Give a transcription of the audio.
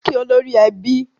Kí olórí ẹbí!